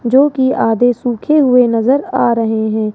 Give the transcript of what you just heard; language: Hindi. जोकि आधे सूखे हुए नजर आ रहे हैं।